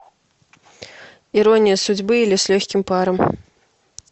ирония судьбы или с легким паром